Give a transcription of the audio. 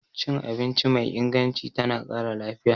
Cin abinci mai inganci tana ƙara lafiya.